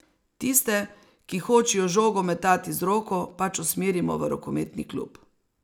Tiste, ki hočejo žogo metati z roko, pač usmerimo v rokometni klub.